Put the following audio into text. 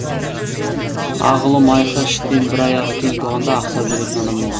ақ ұлы майқы іштен бір аяғы кем туғанда ақсап жүретін адам болған